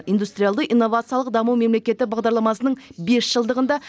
индустриалды инновациялық даму мемлекеттік бағдарламасының бес жылдығында